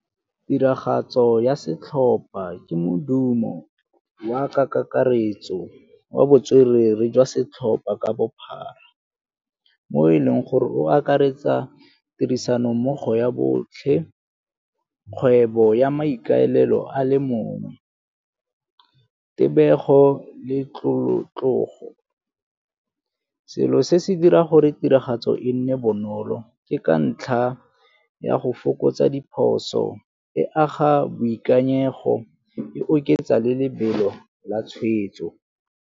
Tiragatso ya setlhopha ke modumo wa ka kakaretso wa botswerere jwa setlhopa ka bophara mo e leng gore o akaretsa tirisano mmogo ya botlhe, kgwebo ya maikaelelo a le mongwe, tebego le tlolo. Selo se se dira gore tiragatso e nne bonolo ke ka ntlha ya go fokotsa diphoso, e aga boikanyego, e oketsa le lebelo la tshwetso.